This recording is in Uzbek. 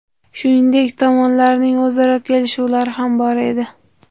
Shuningdek, tomonlarning o‘zaro kelishuvlari ham bor edi.